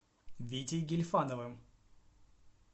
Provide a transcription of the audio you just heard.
витей гильфановым